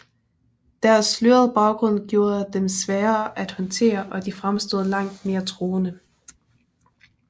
Deres slørede baggrund gjorde dem svære at håndtere og de fremstod langt mere truende